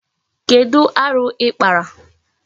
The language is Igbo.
Kedu aru ikpara?